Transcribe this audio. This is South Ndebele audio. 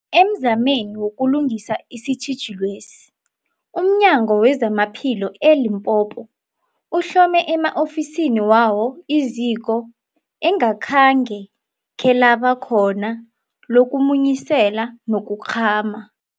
Emzameni wokulungisa isitjhijilwesi, umNyango wezamaPhilo e-Limpopo uhlome ema-ofisini wawo iziko engakhenge khelaba khona lokumunyisela nokukghama.